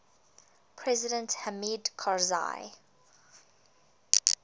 president hamid karzai